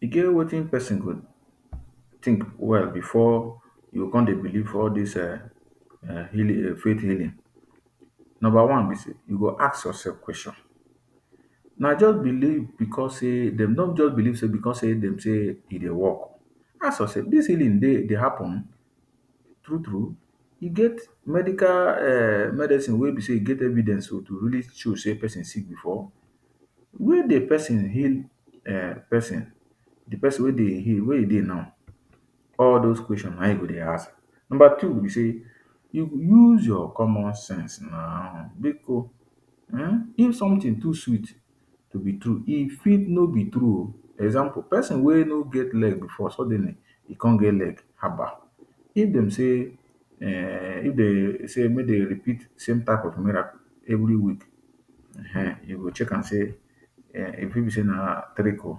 He get watin pesin go tink well before you con believe all dis um healing faith healing, number one be say you go ask ya self question na just believe because dem no just believe because say dem say e dey work ask ya self dis tin e dey dey happen true true e get medical um medicine wey be say he get evidence to really show say pesin sick before? Wen di pesin heal pesin di pesin wey dey heal were he dey now all dose question na in you go dey ask. Number two be say, you use your common sense now biko if sometin too sweet to be true e fit no be true oh example pesin wey no get leg before suddenly come get leg haba if dem say um if dem say make dem repeat di same type of miracle every week um you go check am say um e fit be say na trick o.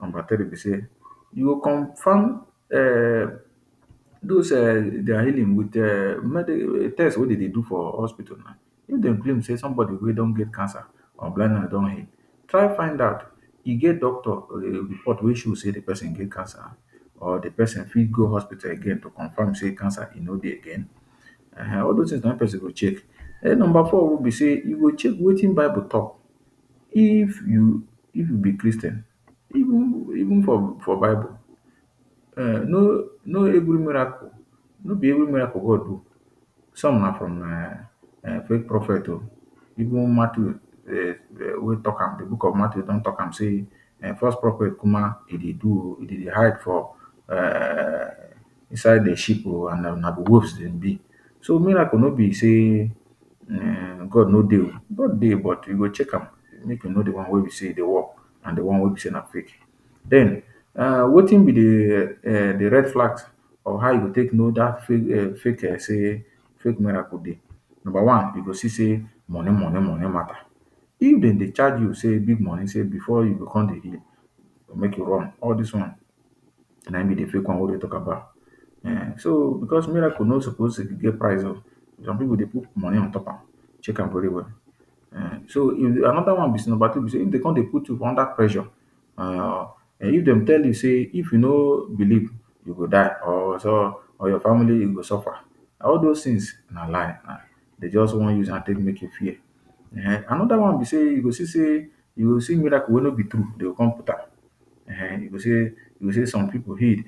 Number tiree be say you go confirm um dose dia healing with um medi test wey dey do for hospital na if dem claim say somebody wey don get cancer or blind man don heal try find out e get doctor report wey show say di pesin get cancer or di pesin fit go hospital again to confirm say cancer e no dey again um all dose tins na him pesin go check. Number four be say we go check watin bible talk if you if you be Christian every for bible no be every miracle god d o some na from fake prophect o even Mathew um wey talk am di book of Mathew don talk am say false prophet kumana e dey do o e dey hide for beside di ship o and na ghost dem be so miracle no be say um God no dey o, God dey but you go check am make you know di one wey be say e dey work and di one wey be say na fake. Den um watin be di um di red flags of how you go take know dat fake say fake miracle dey number one you go see say moni moni moni mata if den dey charge you say bring moni before you dey come dey heal make you run all dis one na him be di fake one wey we dey talk about um so because miracle no suppose dey get price some pipu dey put moni on top am check am very well. um so anoda one is number two be say dey come dey put you under pressure if dem tell you say if you no believe you go die or so or your family e go suffer all dose tins na lie dey just wan use am dey take make you fear. Anoda one be say you go see say you will see miracle wey no be true dey go come put am um you go say you go say some pipu heal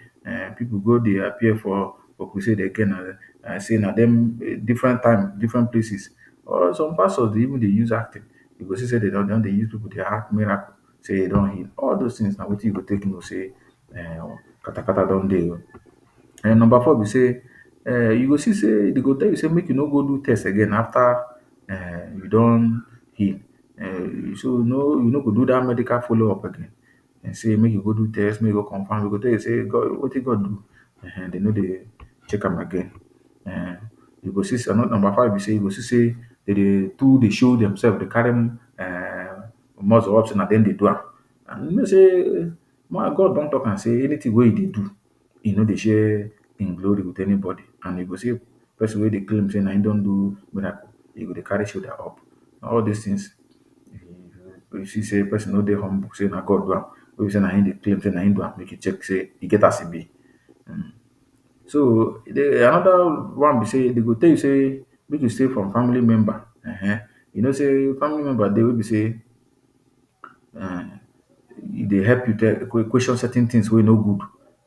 pipu go dey appear for different crusade again like say na dem different time different places or some pastor dey even dey use acting you go see say dey don dey use pipu act dia miracle say e don heal all dose tin na him you got take know say um katakata don dey o. Number four be say you go see say dey go tell you say make you no go do test again after you don heal um so no you no go do dat medical follow up again say make you go do test make you go comfirm dey go tell you say watin God do dey no dey check am again um. You go see number five be say dey go too dey show dem self dey carry muscle up say na dem dey do am and you know say God don talk am say anytin wey e do in no dey share him glory with anybody and you go see say pesin wey dey claim say na him dey do miracle dey carry shoulder up all dis tin you go see say pesin no dey humble say na God do am no be say na min dey claim say na him do am e get as he be. So anoda one be say dey go talk say make you stay from family you know say family member dey wey be say e dey help you question certain tins wey no good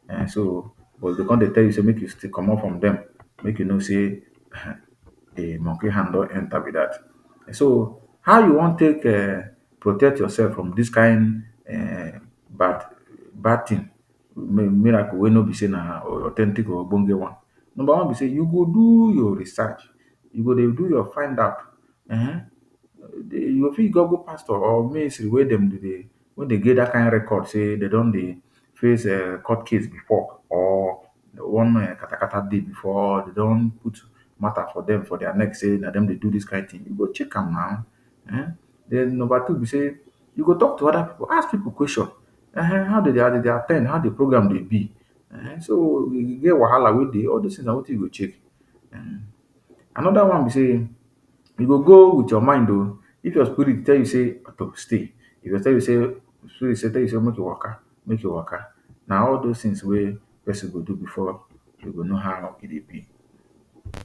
um but dey go come dey tell you make you commot from dem make you know say di monkey hand don enter be dat. How you wan take um protect yourself from dis kain um bad bad tin miracle wey no be say na authentic or ogbonge one before number one be say you go do your research you go dey do your find out you go fit google pastor or ministry wey dem dey wey dey get dat kain record say dem don dey face court case before or one katakata dey before or de don put mata for dem before say na dem dey do dis kain tin you go check am na ehn. Number two be say you go talk to oda pipu ask pipu question ehnehn how dem dey at ten d how di program dey be so you get wahala wey dey all dis tin na watin you go check. Anoda one be say you go go wit your mind if your spirit tell you say make you stay you go stay if your spirit tell you say make you waka make you waka na all dis tins pesin dey do before e know how healing be.